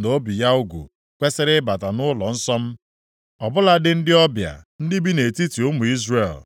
na obi ya ugwu kwesiri ịbata nʼụlọnsọ m. Ọ bụladị ndị ọbịa ndị bi nʼetiti ụmụ Izrel.